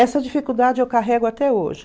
Essa dificuldade eu carrego até hoje.